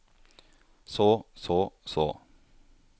så så så